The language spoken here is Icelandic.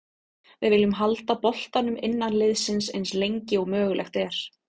Við viljum halda boltanum innan liðsins eins lengi og mögulegt er.